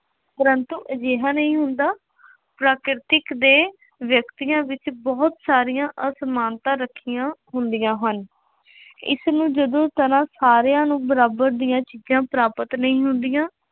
ਪਰੰਤੂ ਅਜਿਹਾ ਨਹੀਂ ਹੁੰਦਾ, ਪ੍ਰਾਕ੍ਰਿਤਕ ਦੇ ਵਿਅਕਤੀਆਂ ਵਿੱਚ ਬਹੁਤ ਸਾਰੀਆਂ ਅਸਮਾਨਤਾ ਰੱਖੀਆਂ ਹੁੰਦੀਆਂ ਹਨ। ਇਸਨੂੰ ਜਦੋਂ ਸਾਰਿਆਂ ਨੂੰ ਬਰਾਬਰ ਦੀਆਂ ਚੀਜ਼ਾਂ ਪ੍ਰਾਪਤ ਨਹੀਂ ਹੁੰਦੀਆਂ,